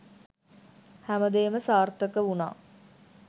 හැමදේම සාර්ථක වුණා.